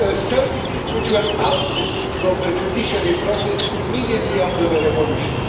services which were ousted from the judiciary process immediately after the revolution.